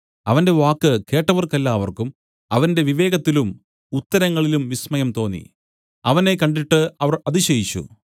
അവന്റെ വാക്ക് കേട്ടവർക്കെല്ലാവർക്കും അവന്റെ വിവേകത്തിലും ഉത്തരങ്ങളിലും വിസ്മയം തോന്നി അവനെ കണ്ടിട്ട് അവർ അതിശയിച്ചു